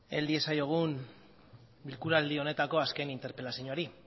hel diezaiogun bilkuraldi honetako azken interpelazioari